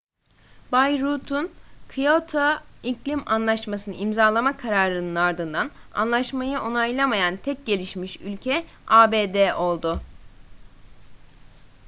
bay rudd'un kyoto iklim anlaşmasını imzalama kararının ardından anlaşmayı onaylamayan tek gelişmiş ülke abd oldu